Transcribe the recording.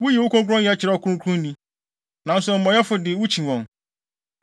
Wuyi wo kronkronyɛ kyerɛ ɔkronkronni, nanso amumɔyɛfo de wukyi wɔn.